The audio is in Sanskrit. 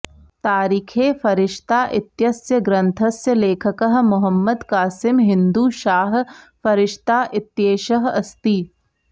तारिखे फरिश्ता इत्यस्य ग्रन्थस्य लेखकः मुहम्मद कासिम हिन्दू शाह फरिश्ता इत्येषः अस्ति